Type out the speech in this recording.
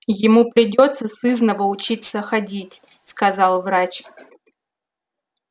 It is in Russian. ему придётся сызнова учиться ходить сказал врач